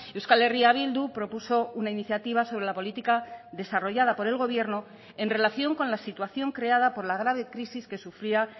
euskal herria bildu propuso una iniciativa sobre la política desarrollada por el gobierno en relación con la situación creada por la grave crisis que sufría